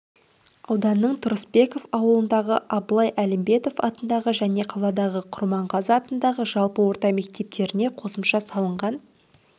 ауданның тұрысбеков ауылындағы абылай әлімбетов атындағы және қаладағы құрманғазы атындағы жалпы орта мектептеріне қосымша салынған